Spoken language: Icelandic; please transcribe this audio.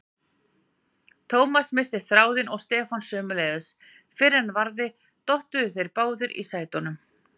Thomas missti þráðinn og Stefán sömuleiðis, fyrr en varði dottuðu þeir báðir í sætunum.